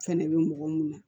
Fɛnɛ bɛ mɔgɔ mun na